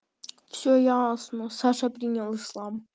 всё ясно саша принял ислам